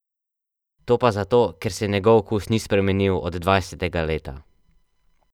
To pa zato, ker se njegov okus ni spremenil od dvajsetega leta.